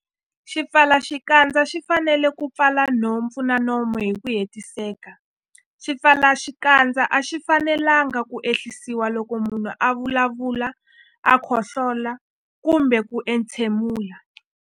Xipfalaxikandza xi fanele ku pfala nhompfu na nomo hi ku hetiseka. Swipfalaxikandza a swi fanelanga ku ehlisiwa loko munhu a vulavula, khohlola kumbe ku entshemula.